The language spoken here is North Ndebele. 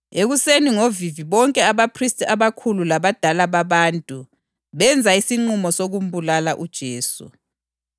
Ekuseni ngovivi bonke abaphristi abakhulu labadala babantu benza isinqumo sokumbulala uJesu.